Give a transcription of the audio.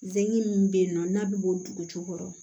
Denkɛ min bɛ yen nɔ n'a bɛ bɔ dugu jukɔrɔ